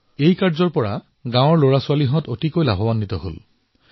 ইয়াৰ দ্বাৰা গাঁৱৰ শিশুসকল যথেষ্ট উপকৃত হল